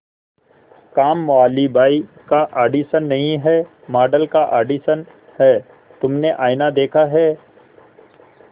कामवाली बाई का ऑडिशन नहीं है मॉडल का ऑडिशन है तुमने आईना देखा है